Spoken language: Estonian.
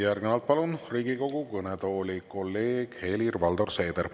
Järgnevalt palun Riigikogu kõnetooli kolleeg Helir-Valdor Seedri.